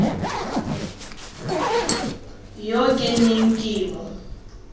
yo ke neng ke mo